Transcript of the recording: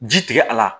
Ji tigɛ a la